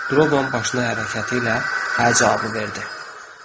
Droban başına hərəkəti ilə hə cavabı verdi.